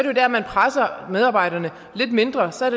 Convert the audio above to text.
jo der man presser medarbejderne lidt mindre så